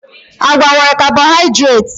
Agwa nwere carbohydrates